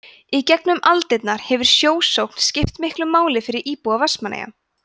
í gegnum aldirnar hefur sjósókn skipt miklu máli fyrir íbúa vestmannaeyja